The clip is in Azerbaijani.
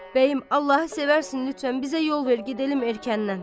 Bəyim, Allahı sevərsən lütfən bizə yol ver, gedəlim erkəndən.